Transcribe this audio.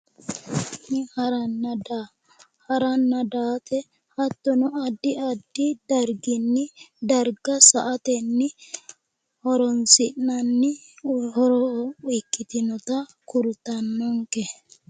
Harana daa, haranna daate hattono addi addi darginni darga sa'atenni horoonsi'nanni horo ikkitinnota kultannonke.